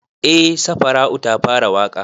Eh safara'u ta fara waƙa